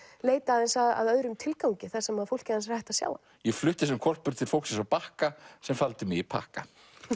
leita aðeins að öðrum tilgangi þar sem fólkið hans er hætt að sjá hann ég flutti sem hvolpur til fólksins á Bakka sem faldi mig í pakka